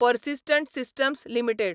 persistent systems limited